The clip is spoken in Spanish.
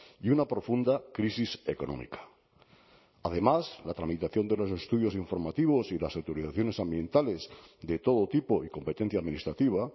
y una profunda crisis económica además la tramitación de los estudios informativos y las autorizaciones ambientales de todo tipo y competencia administrativa